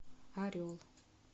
орел